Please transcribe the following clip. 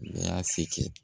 N y'a se kɛ